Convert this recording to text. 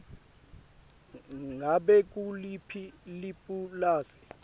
ngabe nguliphi lipulasi